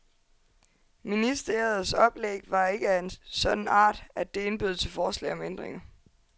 Ministeriets oplæg var ikke af en sådan art, at det indbød til forslag om ændringer.